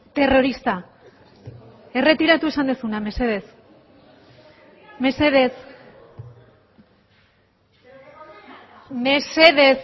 terrorista erretiratu esan duzuna mesedez mesedez mesedez